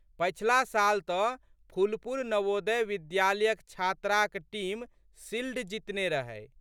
पछिला साल तऽ फुलपुर नवोदय विद्यालयक छात्राक टीम शिल्ड जितने रहै।